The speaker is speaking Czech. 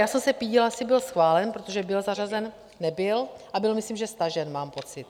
Já jsem se pídila, asi byl schválen, protože byl zařazen - nebyl, a byl myslím že stažen, mám pocit.